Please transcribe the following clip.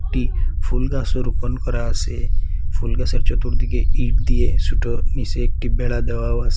একটি ফুল গাসও রোপণ করা আসে ফুলগাসের চতুর্দিকে ইট দিয়ে সোটো নিসে একটি বেড়া দেওয়াও আছে।